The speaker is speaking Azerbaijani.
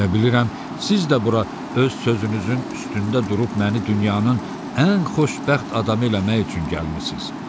Elə bilirəm, siz də bura öz sözünüzün üstündə durub məni dünyanın ən xoşbəxt adamı eləmək üçün gəlmisiniz.